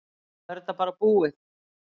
Nú er þetta bara búið.